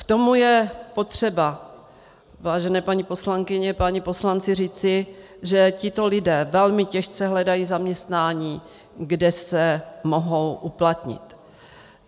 K tomu je potřeba, vážené paní poslankyně, páni poslanci, říci, že tito lidé velmi těžce hledají zaměstnání, kde se mohou uplatnit.